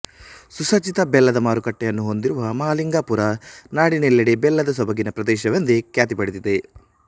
ಸುಸಜ್ಜಿತ ಬೆಲ್ಲದ ಮಾರುಕಟ್ಟೆಯನ್ನು ಹೊಂದಿರುವ ಮಹಾಲಿಂಗಪುರ ನಾಡಿನಲ್ಲೆಡೆ ಬೆಲ್ಲದ ಸೊಬಗಿನ ಪ್ರದೇಶವೆಂದೇ ಖ್ಯಾತಿ ಪಡೆದಿದೆ